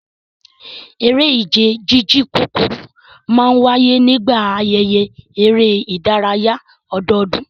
Eré ìje jíjìn kúkúrú máa ń wáyé nígbà ayẹyẹ eré ìdárayá ọdọọdún